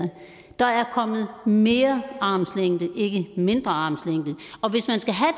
der er kommet mere armslængde ikke mindre armslængde og hvis man skal have